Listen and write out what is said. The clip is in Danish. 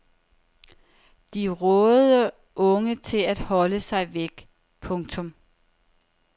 De rådede unge til at holde sig væk. punktum